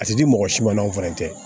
A ti di mɔgɔ si ma o fɛnɛ tɛ